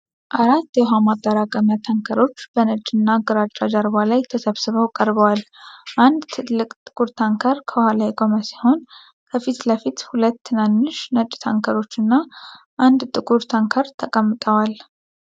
አራት የውሃ ማጠራቀሚያ ታንከሮች በነጭ እና ግራጫ ጀርባ ላይ ተሰብስበው ቀርበዋል። አንድ ትልቅ ጥቁር ታንከር ከኋላ የቆመ ሲሆን፣ ከፊት ለፊት ሁለት ትናንሽ ነጭ ታንከሮች እና አንድ ጥቁር ታንከር ተቀምጠዋል።